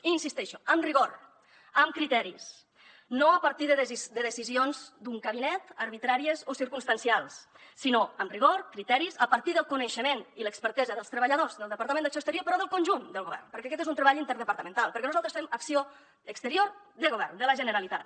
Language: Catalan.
hi insisteixo amb rigor amb criteris no a partir de decisions d’un gabinet arbitràries o circumstancials sinó amb rigor criteris a partir del coneixement i l’expertesa dels treballadors del departament d’acció exterior però del conjunt del govern perquè aquest és un treball interdepartamental perquè nosaltres fem acció exterior de govern de la generalitat